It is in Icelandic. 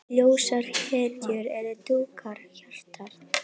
Ljósar hetjur og dökkar hetjur.